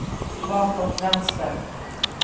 bakåt vänster